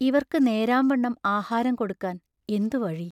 ഇവർക്ക് നേരാംവണ്ണം ആഹാരം കൊടുക്കാൻ എന്തു വഴി?